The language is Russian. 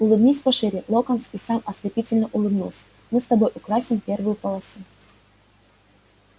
улыбнись шире локонс и сам ослепительно улыбнулся мы с тобой украсим первую полосу